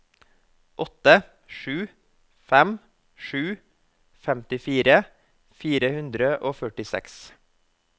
åtte sju fem sju femtifire fire hundre og førtiseks